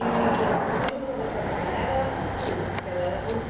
E a sua mãe quando começou a trabalhar era na costura, porque ela era